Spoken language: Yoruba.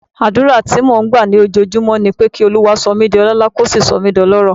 Àdúrà tí mò ń gbà lójoojúmọ́ ni pé kí Olúwa sọ mí di ọlọ́lá, kó sì sọ mí di ọlọ́rọ̀.